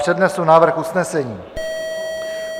Přednesu návrh usnesení.